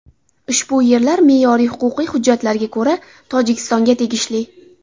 Ushbu yerlar me’yoriy-huquqiy hujjatlarga ko‘ra Tojikistonga tegishli.